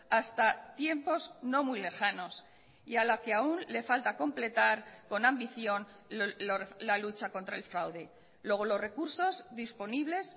hasta tiempos no muy lejanos y a la que aún le falta completar con ambición la lucha contra el fraude luego los recursos disponibles